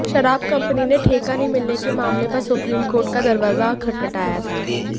शराब कंपनी ने ठेका नहीं मिलने के मामले पर सुप्रीम कोर्ट का दरवाजा खटखटाया था